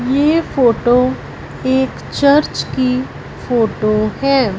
ये फोटो एक चर्च की फोटो है।